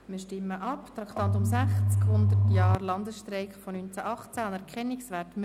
Wir stimmen ab über das Traktandum 60 ab, die «100 Jahre Landesstreik von 1918: Anerkennungswert».